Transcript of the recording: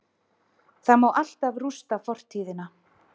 Það má alltaf rústa fortíðina-